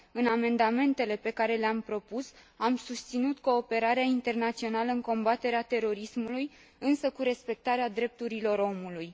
În amendamentele pe care le am propus, am susținut cooperarea internațională în combaterea terorismului, însă cu respectarea drepturilor omului.